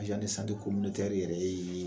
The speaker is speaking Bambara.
yɛrɛ ye